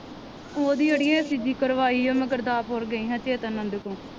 ਉਹ ਦੀ ਅੜੀਏ ecg ਕਰਵਾਈ ਓ ਮੈ ਗੁਰਦਸਪੁਰ ਗਈ ਹਾਂ ਚੇਤਨ ਨੰਦ ਕੋ।